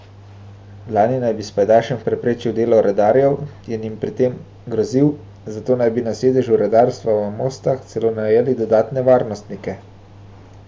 Lani naj bi s pajdašem preprečil delo redarjev in jim pri tem grozil, zato naj bi na sedežu redarstva v Mostah celo najeli dodatne varnostnike.